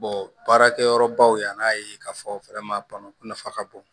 baarakɛ yɔrɔbaw yan'a ye k'a fɔ nafa ka bon